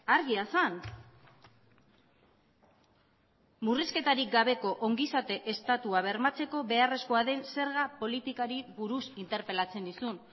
argia zen murrizketarik gabeko ongizate estatua bermatzeko beharrezkoa den zerga politikari buruz interpelatzen nizun